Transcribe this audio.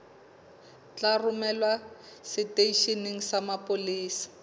tla romelwa seteisheneng sa mapolesa